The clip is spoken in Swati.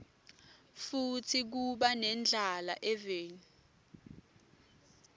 futsi kuba nendlala eveni